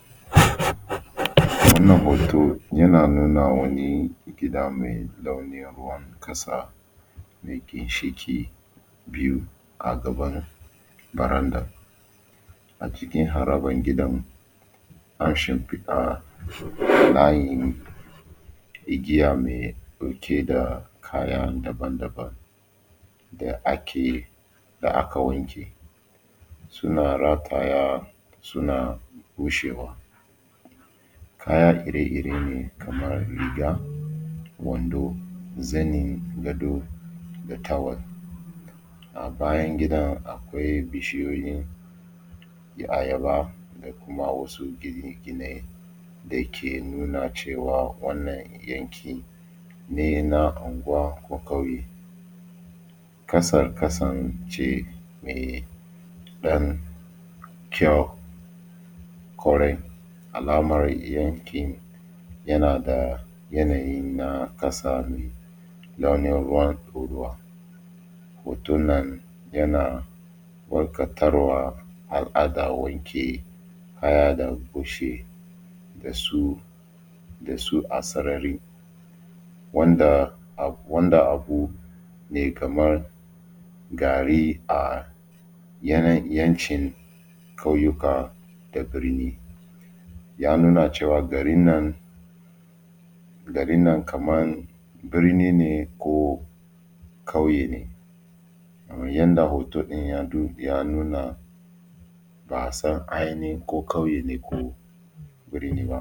Wannan hoto yana nuna wani gida mai launin ruwan ƙasa mai ginshiƙi biyu a gaban baranda. A cikin harabar gidan an shimfiɗa layin igiya mai ɗauke da kaya daban-daban da ake da aka wanke, suna rataya suna bushewa. Kaya iri-iri ne kamar riga, wando, zanin gado da tawel. A bayan gidan akwai bishiyoyin ayaba da kuma wasu gine-gine da ke nuna cewa wannan yanki ne na anguwa ko ƙauye. Ƙasar ƙasan ce mai ɗan kyau ƙwarai alamar yankin yana da yanayi na ƙasa ne launin ruwan ɗorawa. Hotonnan yana walƙatarwa al’adar wanke kaya da bushe da su a sarari wanda abu ne kamar gari a yawancin ƙauyuka da birni. Ya nuna cewa garin nan, garin nan kamar birni ne ko ƙauye ne kamar yanda hoto ɗin ya nuna ba a san ainhin ko ƙauye ne ko.